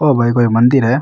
ओ भाई कोई मंदिर है।